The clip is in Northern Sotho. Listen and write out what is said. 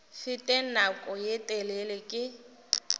fete nako ye telele ke